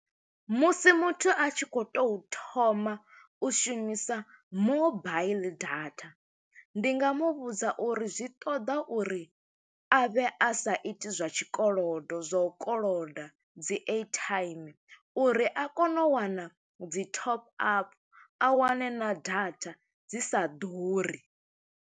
Musi muthu a tshi khou to thoma u shumisa mobaiḽi data, ndi nga mu vhudza uri zwi ṱoḓa uri a vhe a sa i iti zwa tshikolodo, zwa u koloda dzi airtime, uri a kone u wana dzi top up, a wane na data dzi sa ḓuri.